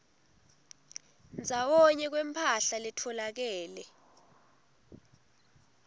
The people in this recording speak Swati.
ndzawonye kwemphahla letfolakele